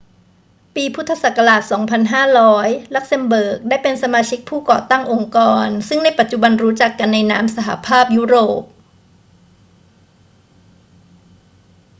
ปี พ. ศ. 2500 ลักเซมเบิร์กได้เป็นสมาชิกผู้ก่อตั้งองค์กรซึ่งในปัจจุบันรู้จักกันในนาม สหภาพยุโรป